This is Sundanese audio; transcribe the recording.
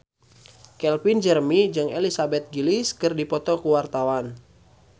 Calvin Jeremy jeung Elizabeth Gillies keur dipoto ku wartawan